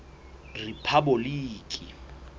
rephaboliki